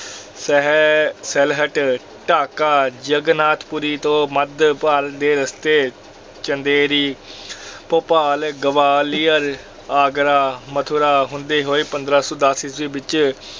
ਸਿਹ~ ਸਿਲਹਟ, ਢਾਕਾ, ਜਗਨਾਥਪੁਰੀ ਤੋਂ ਮੱਧ ਭਾਰਤ ਦੇ ਰਸਤੇ ਚੰਦੇਰੀ ਭੋਪਾਲ, ਗਵਾਲੀਅਰ, ਆਗਰਾ, ਮਥੁਰਾ ਹੁੰਦੇ ਹੋਏ ਪੰਦਰਾਂ ਸੌ ਦਸ ਈਸਵੀ ਵਿੱਚ